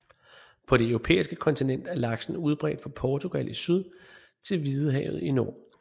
På det europæiske kontinent er laksen udbredt fra Portugal i syd til Hvidehavet i nord